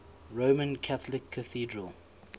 roman catholic cathedral